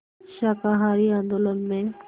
शाकाहारी आंदोलन में